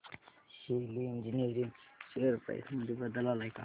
शेली engineering share price मध्ये बदल आलाय का